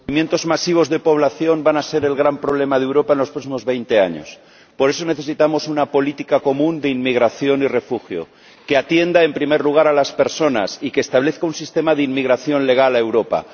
Señor Presidente, los movimientos masivos de población van a ser el gran problema de Europa en los próximos veinte años. Por eso, necesitamos una política común de inmigración y refugio que atienda en primer lugar a las personas y que establezca un sistema de inmigración legal en Europa